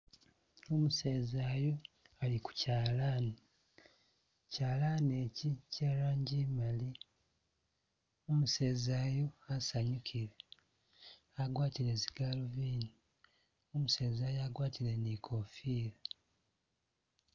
Umuseza yu ali ku chalani, chalani chi che'rangi i'mali, umuseza yu wasanyukile, agwatile zigaluvindi, umuseza agwatile ni i'kofila.